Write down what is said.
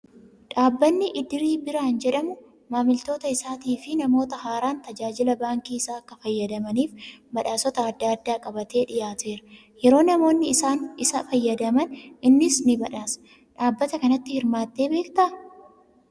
Dhaabbanni iddirii biraan jedhamu maamiltoota isaatii fi namoota haaraan tajaajila baankii isaa akkaa fayyadamaniif badhaasota adda addaa qabatee dhiyaateera. Yeroo namoonni isa fayyadaman innis ni badhaasa. Dhaabbata kanatti hirmaattee beektaa?